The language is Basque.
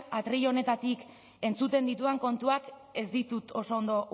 atril honetatik entzuten ditudan kontuak ez ditut oso ondo